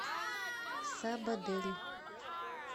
сабадель